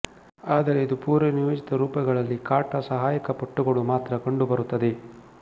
ಆದರೆ ಇದು ಪೂರ್ವನಿಯೋಜಿತ ರೂಪಗಳಲ್ಲಿ ಕಾಟಾ ಸಹಾಯಕ ಪಟ್ಟುಗಳುಮಾತ್ರ ಕಂಡುಬರುತ್ತದೆ